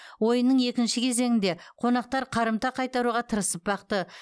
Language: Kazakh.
ойынның екінші кезеңінде қонақтар қарымта қайтаруға тырысып бақты